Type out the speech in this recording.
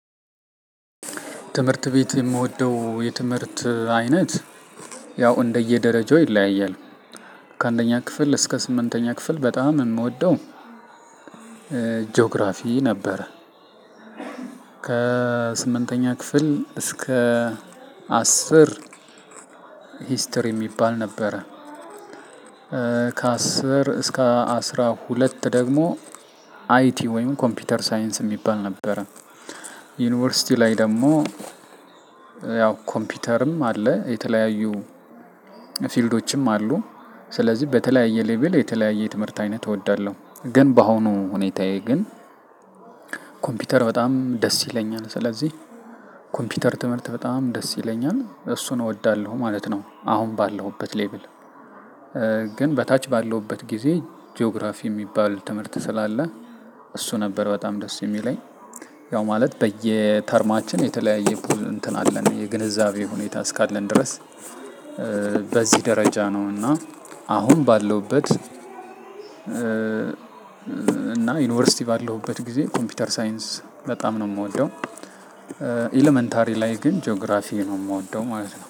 ትምህርት ቤት የምወደው የትምህርት አይነት ያው እንደየደረጃው ይለያያል። ከአንደኛ ክፍል እስከ ስምንተኛ ክፍል በጣም የምወደው ጂኦግራፊ ነበር ከስምንተኛ ክፍል እስከ አስር ሂስትሪ የሚባል ነበረ ከአስር እስከ አስራ ሁለት ደግሞ አይቲ ወይም ኮምፒውተር ሳይንስ የሚባል ነበረ። ዩኒቨርሲቲ ላይ ደግሞ ያው ኮምፒውተርም አለ የተለያዩ ፊልዶችም አሉ ስለዚህ በተለያየ ሌቭል የተለያየ ትምህርት አይነት እወዳለሁ ግን በአሁኑ ሁኔታዬ ግን ኮምፒውተር በጣም ደስ ይለኛል ስለዚህ ኮምፒውተር ትምህርት በጣም ደስ ይለኛል እሱን እወዳለሁ ማለት ነው። አሁን ባለሁበት ሌብል ግን በታች ባለሁበት ጊዜ ጂኦግራፊ የሚባል ትምህርት ስላለ እሱ ነበር በጣም ደስ የሚለኝ። ያው ማለት በየተርማችን የተለያየ ፑል እንትን አለን የግንዛቤ ሁኔታ እስካለን ድረስ በዚህ ደረጃ ነው እና አሁን ባለውበት እና ዩንቭርስቲ ባለሁበት ግዜ ኮምፒውተር ሳይንስ በጣም ነው ምወደው። ኤለመንታሪ ላይ ግን ጂኦግራፊዬ ነው የምወደው ማለት ነው።